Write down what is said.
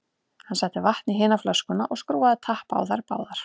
Hann setti vatn í hina flöskuna og skrúfaði tappa á þær báðar.